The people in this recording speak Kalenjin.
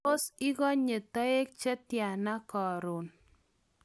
tos ikonye toek che tyana karon?